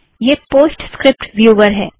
यह PostScript viewer है